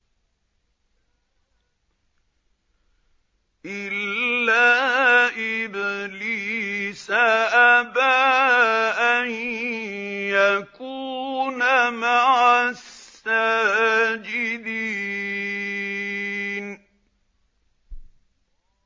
إِلَّا إِبْلِيسَ أَبَىٰ أَن يَكُونَ مَعَ السَّاجِدِينَ